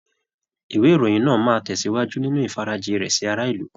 Ìwé ìròyìn náà máa tẹ̀sìwájú nínú ìfarajì rẹ̀ sí ará ìlú.